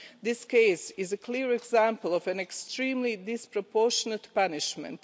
This case is a clear example of an extremely disproportionate punishment.